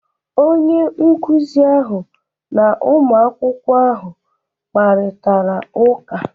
Onye nkụzi ahụ na ụmụ akwụkwọ ahụ kparịtara ụka.